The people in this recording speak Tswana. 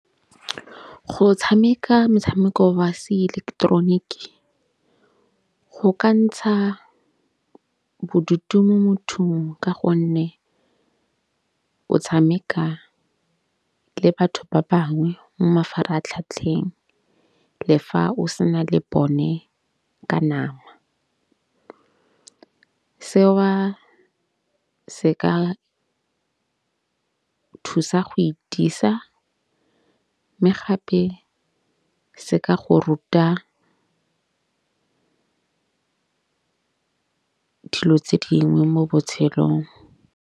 Go tshameka metshameko wa seileketeroniki go ka ntsha bodutu mo mothong. Ka gonne o tshameka le batho ba bangwe mo mafaratlhatlheng le fa o sena le bone ka nama. Seo se ka thusa go e itiisa. Mme gape se ka go ruta dilo tse dingwe mo botshelong.